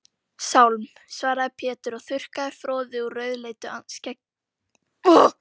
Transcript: Sálm, svaraði Pétur og þurrkaði froðu úr rauðleitu skegginu.